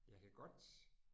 Jeg kan godt